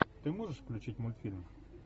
ты можешь включить мультфильм